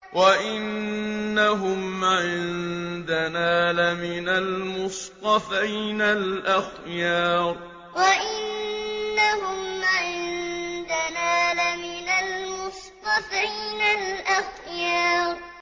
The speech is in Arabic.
وَإِنَّهُمْ عِندَنَا لَمِنَ الْمُصْطَفَيْنَ الْأَخْيَارِ وَإِنَّهُمْ عِندَنَا لَمِنَ الْمُصْطَفَيْنَ الْأَخْيَارِ